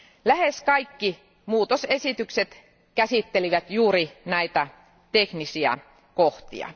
Lähes kaikki tarkistukset käsittelivät juuri näitä teknisiä kohtia.